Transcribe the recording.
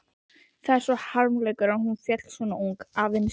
Það er harmleikur að hún féll svo ung, aðeins